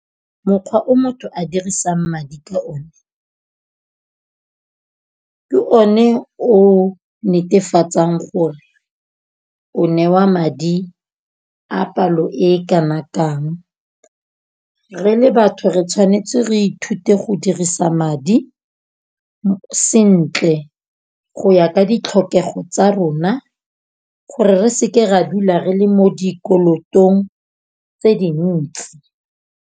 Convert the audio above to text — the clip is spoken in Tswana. Mokgwa o motho a dirisang madi ka o ne, ke o ne o netefatsang gore o newa madi a palo e kana kang. Re le batho re tshwanetse re ithute go dirisa madi sentle go ya ka ditlhokego tsa rona. Gore re seke ra dula re le mo dikolotong tse dintsi.